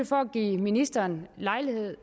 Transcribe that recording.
for at give ministeren lejlighed